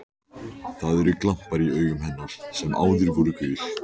Það eru glampar í augum hennar sem áður voru gul.